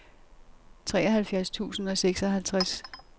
treoghalvfjerds tusind og seksoghalvtreds